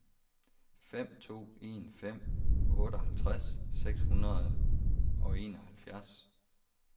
fem to en fem otteoghalvtreds seks hundrede og enoghalvfjerds